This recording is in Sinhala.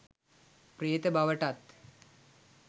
ප්‍රේත බවටත්